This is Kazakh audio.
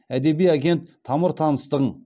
әдеби агент тамыр таныстығың